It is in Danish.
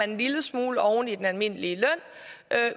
en lille smule oven i den almindelige